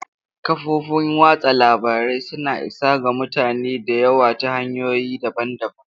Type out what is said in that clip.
Kafofin watsa labarai suna isa ga mutane da yawa ta hanyoyi daban-daban.